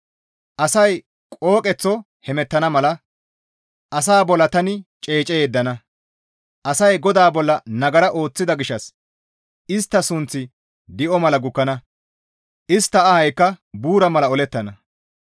Asay qooqeththo hemettana mala asaa bolla tani ceece yeddana; asay GODAA bolla nagara ooththida gishshas istta suuththi di7o mala gukkana; istta ahaykka buura mala olettana.